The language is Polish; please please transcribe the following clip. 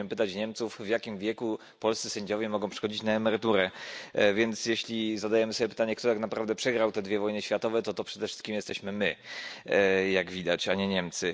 musimy pytać Niemców, w jakim wieku polscy sędziowie mogą przechodzić na emeryturę, więc jeśli zadajemy sobie pytanie, kto tak naprawdę przegrał te dwie wojny światowe, to przede wszystkim to jesteśmy my, jak widać, a nie Niemcy.